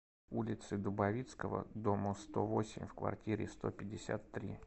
улице дубовицкого дому сто восемь в квартире сто пятьдесят три